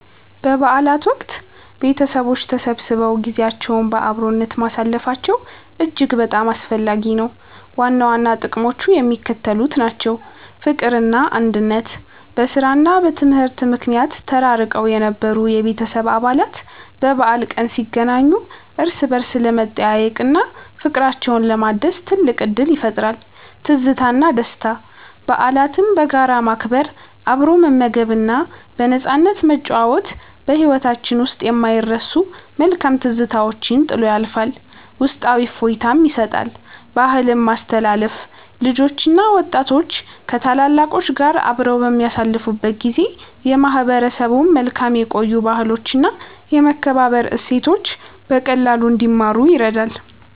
በበዓላት ወቅት ቤተሰቦች ተሰብስበው ጊዜያቸውን በአብሮነት ማሳለፋቸው እጅግ በጣም አስፈላጊ ነው። ዋና ዋና ጥቅሞቹ የሚከተሉት ናቸው፦ ፍቅርና አንድነት፦ በሥራና በትምህርት ምክንያት ተራርቀው የነበሩ የቤተሰብ አባላት በበዓል ቀን ሲገናኙ እርስ በርስ ለመጠያየቅና ፍቅራቸውን ለማደስ ትልቅ ዕድል ይፈጥራል። ትዝታና ደስታ፦ በዓላትን በጋራ ማክበር፣ አብሮ መመገብና በነፃነት መጨዋወት በሕይወታችን ውስጥ የማይረሱ መልካም ትዝታዎችን ጥሎ ያልፋል፤ ውስጣዊ እፎይታም ይሰጣል። ባህልን ማስተላለፍ፦ ልጆችና ወጣቶች ከታላላቆች ጋር አብረው በሚያሳልፉበት ጊዜ የማህበረሰቡን መልካም የቆዩ ባህሎችና የመከባበር እሴቶች በቀላሉ እንዲማሩ ይረዳል።